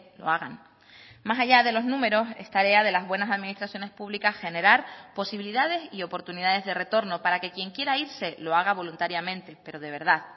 lo hagan más allá de los números es tarea de las buenas administraciones públicas generar posibilidades y oportunidades de retorno para que quien quiera irse lo haga voluntariamente pero de verdad